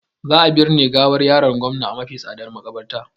Za a birne gawar yaron gomna a mafi tsadar makabarta